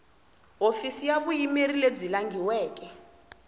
hofisi ya vuyimeri lebyi langhiweke